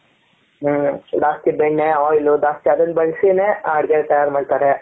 ಹ್ಮ್ಜಾ ಸ್ತಿ ಬೆಣ್ಣೆ oil ಜಾಸ್ತಿ ಅದನ್ನು ಬಳಸಿ ನೆ ಅಡಿಕೆ ತಯಾರ್ ಮಾಡ್ತಾರೆ.